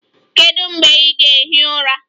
Kedu mgbe ị ga-ehi ụra?